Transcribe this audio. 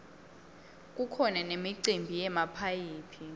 kukhona nemicimbi yemaphayhi